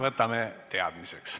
Võtame teadmiseks.